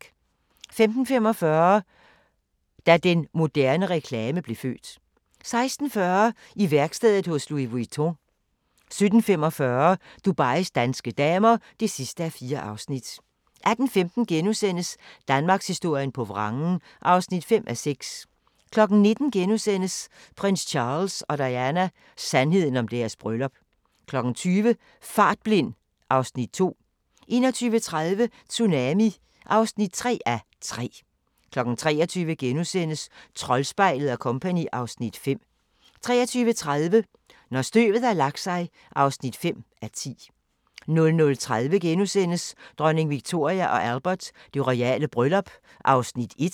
15:45: Da den moderne reklame blev født 16:40: I værkstedet hos Louis Vuitton 17:45: Dubais danske damer (4:4) 18:15: Danmarkshistorien på vrangen (5:6)* 19:00: Prins Charles og Diana: Sandheden om deres bryllup * 20:00: Fartblind (Afs. 2) 21:30: Tsunami (3:3) 23:00: Troldspejlet & Co. (Afs. 5)* 23:30: Når støvet har lagt sig (5:10) 00:30: Dronning Victoria & Albert: Det royale bryllup (1:2)*